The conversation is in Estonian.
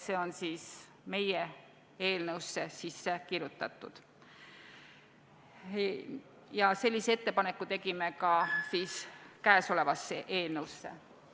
See on meie eelnõusse sisse kirjutatud ja sellise ettepaneku tegime ka kõnealusesse eelnõusse.